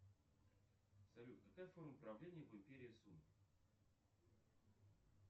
салют какая форма правления в империи сун